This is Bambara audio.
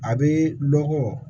A bɛ lɔgɔ